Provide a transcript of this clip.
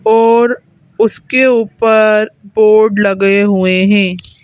और उसके ऊपर बोर्ड लगे हुए हैं।